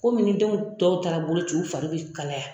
Komi ni denw tɔw taara boloci u fari bɛ kalaya.